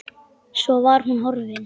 Svo var hún horfin.